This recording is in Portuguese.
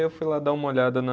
Eu fui lá dar uma olhada na